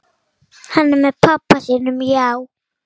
Hann er með pabba sínum, já.